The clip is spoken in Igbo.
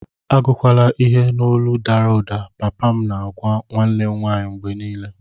Agụkwala ihe n'olu dara ụda, papa m na-agwa nwanne m nwanyị mgbe niile.